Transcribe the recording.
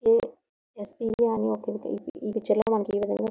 ఇది S T B అని ఈ పిక్చర్ లో మనకు ఈ విధంగా --